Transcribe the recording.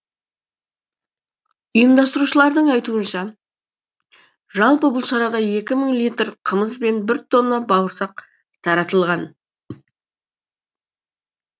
ұйымдастырушылардың айтуынша жалпы бұл шарада екі мың литр қымыз бен бір тонна бауырсақ таратылған